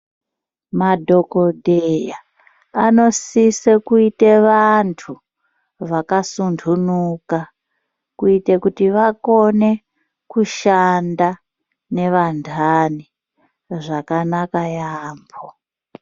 Madhokoteya anosise kuite vantu vakasuntunuka kuite kuti vagone kushanda nevantani zvakanaka yambo.